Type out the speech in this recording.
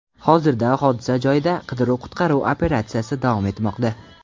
Hozirda hodisa joyida qidiruv-qutqaruv operatsiyasi davom etmoqda.